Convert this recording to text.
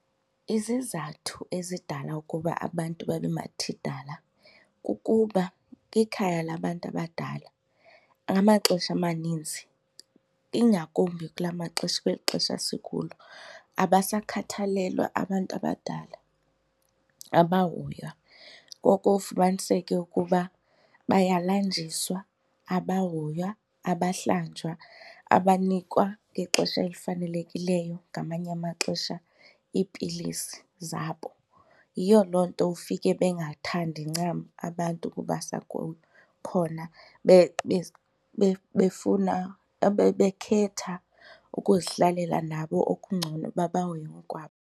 Izizathu ezidala ukuba abantu babe mathidala kukuba kwikhaya labantu abadala ngamaxesha amaninzi ingakumbi kula maxesha kweli xesha sikulo abasakhathalelwa abantu abadala, abahoywa. Ngoko ufumaniseke ukuba bayalanjiswa abahoywa abahlanjwa, abanikwa ngexesha elifanelekileyo ngamanye amaxesha iipilisi zabo. Yiyo loo nto ufike bengathandi ncam abantu ukubasa khona befuna bekhetha ukuzihlalela nabo okungcono uba bahoye ngokwabo.